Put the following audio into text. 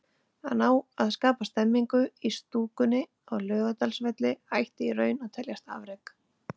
Að ná að skapa stemningu í stúkunni á Laugardalsvelli ætti í raun að teljast afrek.